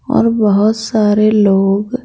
और बहुत सारे लोग ।